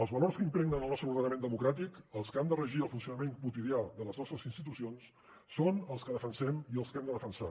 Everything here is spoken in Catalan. els valors que impregnen el nostre ordenament democràtic els que han de regir el funcionament quotidià de les nostres institucions són els que defensem i els que hem de defensar